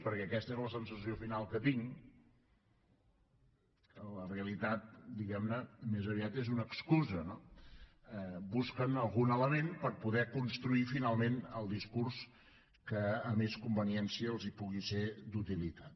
perquè aquesta és la sensació final que tinc que la realitat diguem ne més aviat és una excusa busquen algun element per poder construir finalment el discurs que a més conveniència els pugui ser d’utilitat